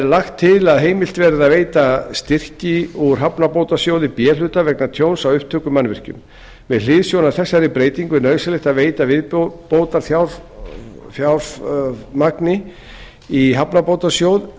lagt til að heimilt verði að veita styrki úr hafnabótasjóði b hluta vegna tjóns á upptökumannvirkjum með hliðsjón af þessari breytingu er nauðsynlegt að veita viðbótarfjármagn í hafnabótasjóð